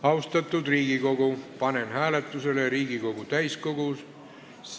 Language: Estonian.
Austatud Riigikogu, panen hääletusele Riigikogu täiskogu ...